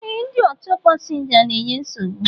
E, ndị ọchọ pasinja n'enye nsogbu